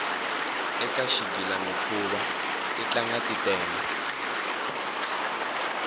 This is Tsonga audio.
eka xigilamikhuva titlanga ti tele